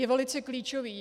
Je velice klíčový.